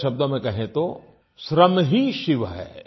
दूसरे शब्दों में कहें तो श्रम ही शिव है